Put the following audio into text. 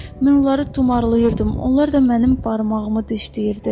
Mən onları tumarlayırdım, onlar da mənim barmağımı dişləyirdi.